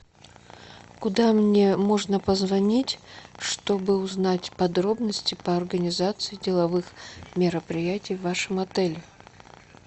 куда мне можно позвонить чтобы узнать подробности по организации деловых мероприятий в вашем отеле